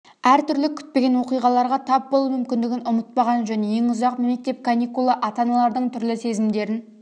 әртүрлі күтпеген оқиғаларға тап болу мүмкіндігін ұмытпаған жөн ең ұзақ мектеп каникулы ата-аналардың түрлі сезімдерін